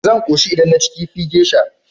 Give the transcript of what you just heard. Zan koshi idan naci kifi geisha.